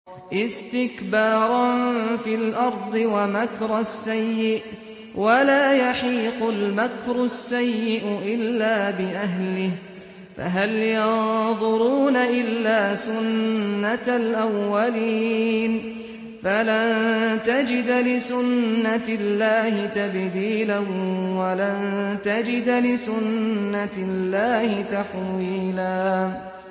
اسْتِكْبَارًا فِي الْأَرْضِ وَمَكْرَ السَّيِّئِ ۚ وَلَا يَحِيقُ الْمَكْرُ السَّيِّئُ إِلَّا بِأَهْلِهِ ۚ فَهَلْ يَنظُرُونَ إِلَّا سُنَّتَ الْأَوَّلِينَ ۚ فَلَن تَجِدَ لِسُنَّتِ اللَّهِ تَبْدِيلًا ۖ وَلَن تَجِدَ لِسُنَّتِ اللَّهِ تَحْوِيلًا